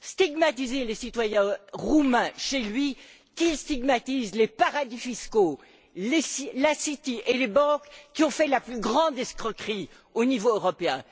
stigmatiser les citoyens roumains chez lui, qu'il stigmatise les paradis fiscaux, la City et les banques, qui ont fait la plus grande escroquerie au niveau européen.